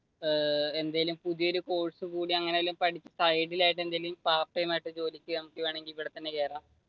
ഏർ എന്തെങ്കിലും പുതിയ ഒരു കോഴ്സ് കൂടി അങ്ങനെ വല്ലതും പഠിച്ചു ഇവിടെ തന്നെ കേറാം.